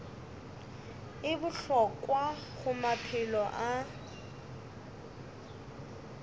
e bohlokwa go maphelo a